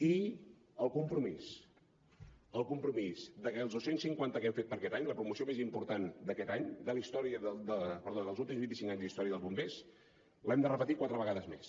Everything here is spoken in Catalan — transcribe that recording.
i el compromís el compromís de que els dos cents i cinquanta que hem fet per aquest any la promoció més important d’aquest any dels últims vint i cinc anys d’història dels bombers l’hem de repetir quatre vegades més